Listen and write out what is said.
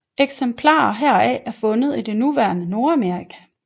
Eksemplarer heraf er fundet i det nuværende Nordamerika